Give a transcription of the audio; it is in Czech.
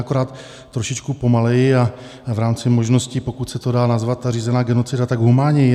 Akorát trošičku pomaleji a v rámci možností, pokud se to dá nazvat, ta řízená genocida, tak humánněji.